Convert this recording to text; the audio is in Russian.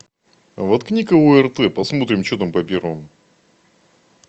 воткни ка орт посмотрим что там по первому